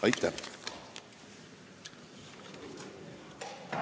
Aitäh!